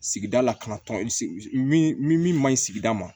Sigida lakanatɔn min min ma ɲi sigida ma